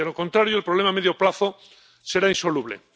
De lo contrario, el problema, a medio plazo, será insoluble.